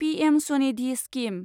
PM Svanidhi scheme